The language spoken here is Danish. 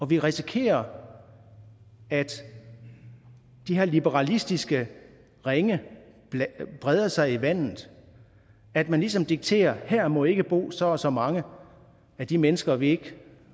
vi risikerer at de her liberalistiske ringe breder sig i vandet at man ligesom dikterer at her må ikke bo så og så mange af de mennesker vi ikke